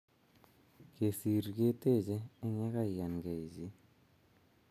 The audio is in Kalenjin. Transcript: Kesir keteche eng ye kaiyangei chi